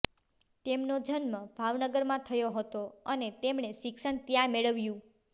તેમનો જન્મ ભાવનગરમાં થયો હતો અને તેમણે શિક્ષણ ત્યાં મેળવ્યું